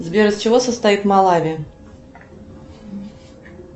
сбер из чего состоит малави